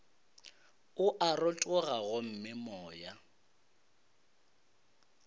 o a rotoga gomme moya